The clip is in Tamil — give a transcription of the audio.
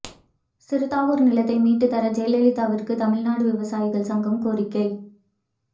சிறுதாவூர் நிலத்தை மீட்டுத் தர ஜெயலலிதாவுக்கு தமிழ்நாடு விவசாயிகள் சங்கம் கோரிக்கை